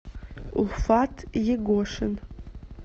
уфат егошин